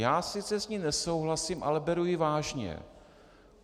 Já s ní sice nesouhlasím, ale beru ji vážně.